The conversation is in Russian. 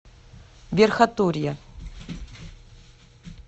верхотурье